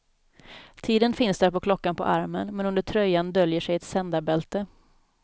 Tiden finns där på klockan på armen, men under tröjan döljer sig ett sändarbälte.